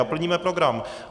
A plníme program.